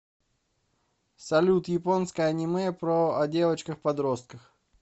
салют японское аниме про о девочках подростках